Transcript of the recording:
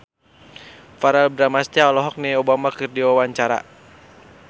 Verrell Bramastra olohok ningali Obama keur diwawancara